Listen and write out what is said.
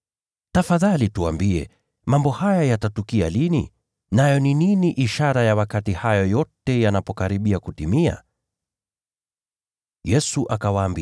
“Tafadhali tuambie, mambo haya yatatukia lini? Nayo dalili ya kuwa hayo yote yanakaribia kutimia itakuwa gani?”